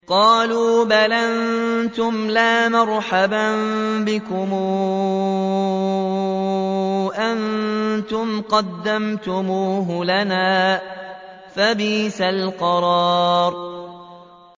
قَالُوا بَلْ أَنتُمْ لَا مَرْحَبًا بِكُمْ ۖ أَنتُمْ قَدَّمْتُمُوهُ لَنَا ۖ فَبِئْسَ الْقَرَارُ